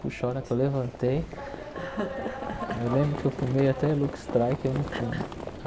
Puxa, a hora que eu levantei, eu lembro que eu fumei até luxtraí, que eu não fumo.